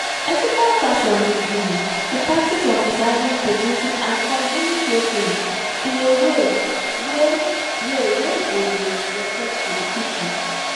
ethical fashion be um di practice of designing producing and consuming clothing um in a way wey way wey go dey respectful to people